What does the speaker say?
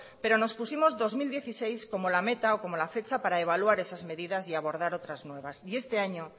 pero nos pusimos el dos mil dieciséis como la meta o como la fecha para evaluar esas medidas y abordar otras nuevas y este año